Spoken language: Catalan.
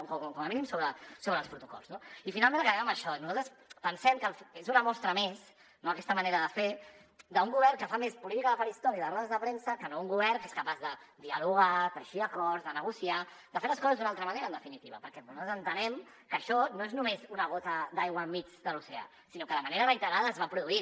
o com a mínim sobre els protocols no i finalment acabem amb això nosaltres pensem que és una mostra més no aquesta manera de fer d’un govern que fa més política de faristol i de rodes de premsa que no un govern que és capaç de dialogar teixir acords de negociar de fer les coses d’una altra manera en definitiva perquè nosaltres entenem que això no és només una gota d’aigua enmig de l’oceà sinó que de manera reiterada es va produint